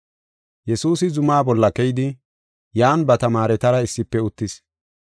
Yesuusi zumaa bolla keyidi, yan ba tamaaretara issife uttis.